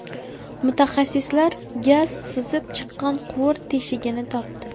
Mutaxassislar gaz sizib chiqqan quvur teshigini topdi.